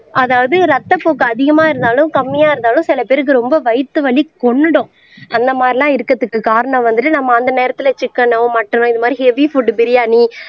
அதாவது ரத்தப்போக்கு அதிகமா இருந்தாலும் கம்மியா இருந்தாலும் சில பேருக்கு ரொம்ப வயித்து வலி கொன்னுடும் அந்த மாதிரிலாம் இருக்குறதுக்கு காரணம் வந்துட்டு நம்ம அந்த நேரத்துல சிக்கன்னோ மட்டனோ இந்த மாதிரி ஹெவி புட் பிரியாணி